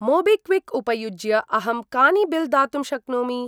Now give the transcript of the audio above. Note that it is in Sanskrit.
मोबिक्विक् उपयुज्य अहं कानि बिल् दातुं शक्नोमि?